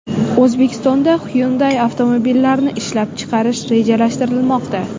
O‘zbekistonda Hyundai avtomobillarini ishlab chiqarish rejalashtirilmoqda .